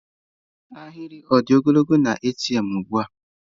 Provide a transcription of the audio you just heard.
Ahịrị ọ dị ogologo na ATM ugbu a?